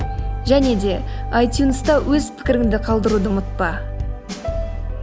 және де айтюнста өз пікіріңді қалдыруды ұмытпа